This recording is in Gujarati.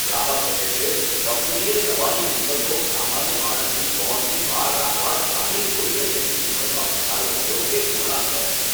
ગ્રાહક કહે છે, કંપનીએ દવાની કિંમતો સામાન્ય માણસની પહોંચની બહાર રાખવા જાણીજોઈને તેની કિંમતમાં વધારો કર્યો તે ઘૃણાસ્પદ છે.